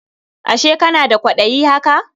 Ashe kana da kwaɗayi haka?